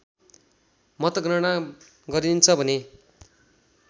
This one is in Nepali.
मतगणना गरिन्छ भने